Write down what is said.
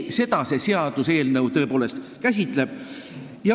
Seda see seaduseelnõu tõepoolest käsitleb.